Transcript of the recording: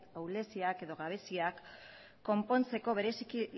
ahuleziak edo gabeziak konpontzeko bereziki